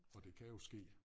Og det kan jo ske